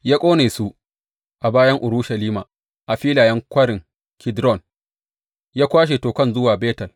Ya ƙone su a bayan Urushalima a filayen Kwarin Kidron, ya kwashe tokan zuwa Betel.